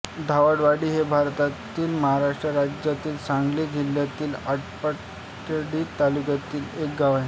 धावडवाडी हे भारतातील महाराष्ट्र राज्यातील सांगली जिल्ह्यातील आटपाडी तालुक्यातील एक गाव आहे